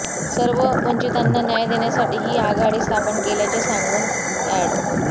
सर्व वंचितांना न्याय देण्यासाठी ही आघाडी स्थापन केल्याचे सांगून अॅड